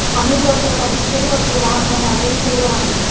अनेक वर्षांपासून सुरु असलेला हा क्रम आजही सुरु आहे